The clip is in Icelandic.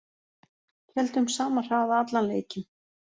Héldum sama hraða allan leikinn